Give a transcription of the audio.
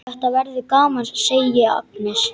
Þetta verður gaman, segir Agnes.